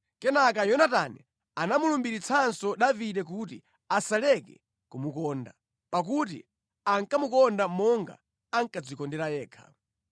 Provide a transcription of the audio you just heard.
Kenaka Yonatani anamulumbiritsanso Davide kuti asaleke kumukonda, pakuti ankamukonda monga ankadzikondera yekha.